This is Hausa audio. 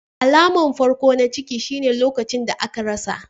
Alamar farko na ciki shine lokacin da aka rasa.